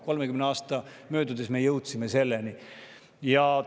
30 aasta möödudes me selleni jõudsime.